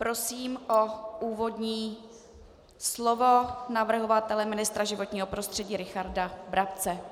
Prosím o úvodní slovo navrhovatele ministra životního prostředí Richarda Brabce.